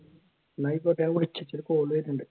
എന്നാൽ ആയിക്കോട്ടെ ഞാൻ വിളിക്കാം ഇജ്ജ് എനിക്കൊരു call വരുന്നുണ്ട്